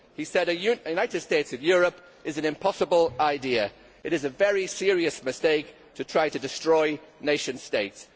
He said that a United States of Europe is an impossible idea. It is a very serious mistake to try to destroy nation states.